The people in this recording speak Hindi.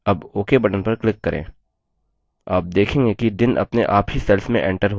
आप देखेंगे कि दिन अपने आप ही cells में एंटर होते हैं